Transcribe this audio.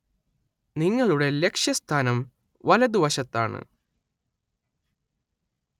നിങ്ങളുടെ ലക്ഷ്യസ്ഥാനം വലതുവശത്താണ്.